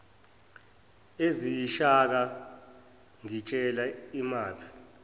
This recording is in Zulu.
eziyishaka ngitshele imaphi